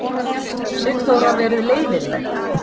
Sigþóra verið leiðinleg.